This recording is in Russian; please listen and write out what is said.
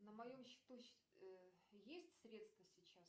на моем счету есть средства сейчас